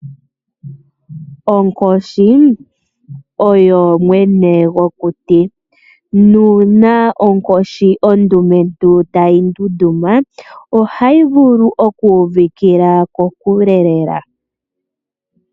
Onkoshi oyo mwene gokuti. Nuuna onkoshi ondumentu tayi ndunduma, ohayi vulu okuuvikila kokule lela.